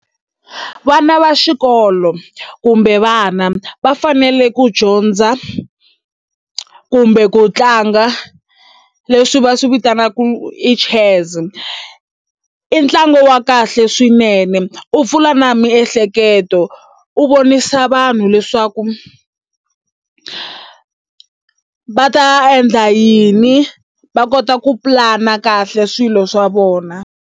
Vana va xikolo kumbe vana va fanele ku dyondza kumbe ku tlanga leswi va swi vitanaka i chess i ntlangu wa kahle swinene u pfula na miehleketo u vonisa vanhu leswaku va ta endla yini va kota ku pulana kahle swilo swa vona.